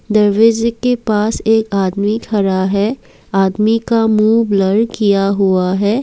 दरवाजे के पास एक आदमी खड़ा है आदमी का मुँह ब्लर किया हुआ है।